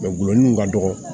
gulɔ min ka dɔgɔ